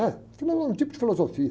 É, filo, é um tipo de filosofia.